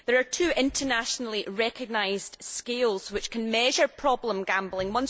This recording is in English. There are two internationally recognised scales which can measure problem gambling.